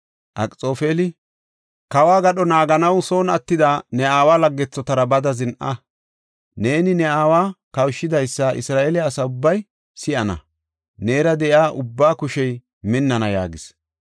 Akxoofeli, “Kawo gadho naaganaw son attida ne aawa laggethotara bada zin7a. Neeni ne aawa kawushidaysa Isra7eele asa ubbay si7ana; neera de7iya ubbaa kushey minnana” yaagis.